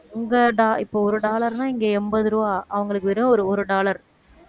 இங்க do~ இப்ப ஒரு dollar ன்னா இங்க எண்பது ரூபாய் அவங்களுக்கு வெறும் ஒரு ஒரு dollar